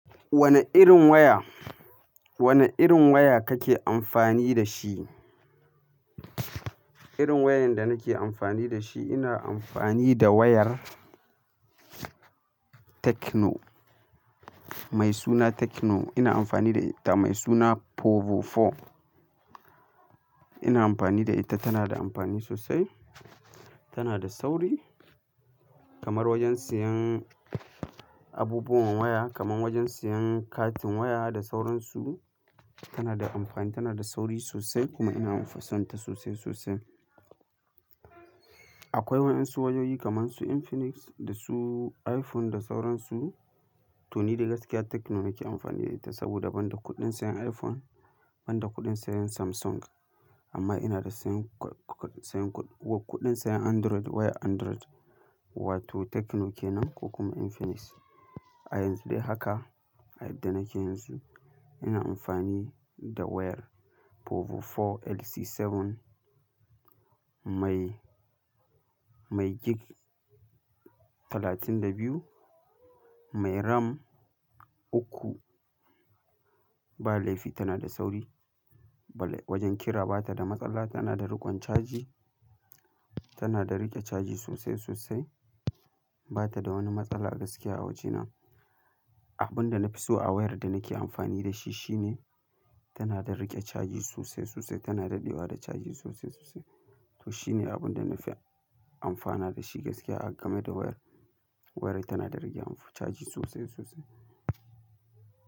Wane irin waya, wane irin waya kake amfani da shi? Irin wayan da nake amfani da shi, ina amfani da wayar Techno mai suna Techno. Ina amfani da ita mai suna Povo 4. Ina amfani da ita, tana da amfani sosai, tana da sauri kamar wajen siyan abubuwan waya kamar wajen siyan katin waya da sauransu. Tana da amfani, tana da sauri sosai kuma ina fison ta sosai, sosai. Akwai waɗansu wayoyi kamar su Infinix da su iPhone da sauransu to ni dai gaskiya Techno na ke amfani da ita saboda ban da kuɗin sayan iPhone, ban da kuɗin sayan Samsung amma ina da sayan, sayan kuɗin sayan Android, wayar Android wato Techno kenan ko kuma Infinix. A yanzu dai haka, a yadda nake yanzu ina amfani da wayar Povo 4LC7 mai, mai gig 32, mai RAM uku, ba laifi tana da sauri. Wajen kira bata da matsala, tana da riƙon caji, tana da riƙe caji sosai, sosai. Bata da wani matsala gaskiya a wajena. Abun da na fi so a wayar da nake amfani da shi shine tana da riƙe caji sosai, sosai. Tana dadewa da caji sosai, sosai. To shine abun da na fi amfana da shi gaskiya game da wayar. Wayar tana da riƙe amfa caji sosai, sosai.